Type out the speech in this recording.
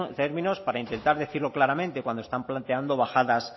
términos para intentar decirlo claramente cuando están planteando bajadas